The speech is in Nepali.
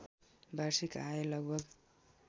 वार्षिक आय लगभग